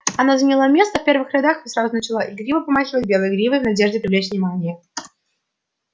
она заняла место в первых рядах и сразу же начала игриво помахивать белой гривой в надежде привлечь внимание